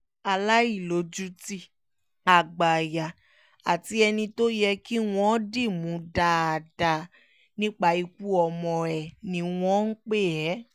aláìlójútì àgbáàyà àti ẹni tó yẹ kí wọ́n dì mú dáadáa nípa ikú ọmọ ẹ ni wọ́n pè é